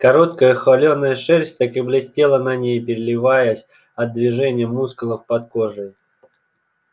короткая холеная шерсть так и блестела на ней переливаясь от движения мускулов под кожей